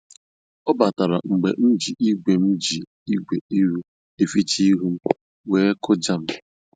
Ọ batara mgbe m ji igwe m ji igwe iru eficha ihu m, wee kụjaa m.